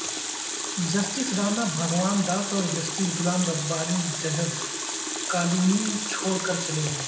justice Rana Bhagwan Das اور justice Ghulam Rabbani ججز colony چھوڑ کر چلے گئے